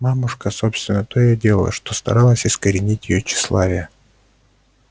мамушка собственно только и делала что старалась искоренить её тщеславие